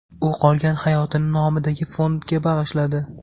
U qolgan hayotini nomidagi fondga bag‘ishladi.